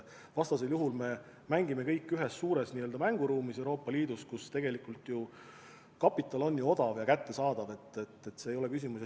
Vastasel juhul me mängime kõik ühes suures mänguruumis Euroopa Liidus, kus tegelikult kapital on odav ja kättesaadav, see ei ole küsimus.